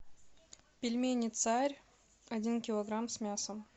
пельмени царь один килограмм с мясом